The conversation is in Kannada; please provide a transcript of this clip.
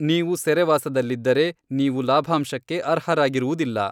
ನೀವು ಸೆರೆವಾಸದಲ್ಲಿದ್ದರೆ, ನೀವು ಲಾಭಾಂಶಕ್ಕೆ ಅರ್ಹರಾಗಿರುವುದಿಲ್ಲ.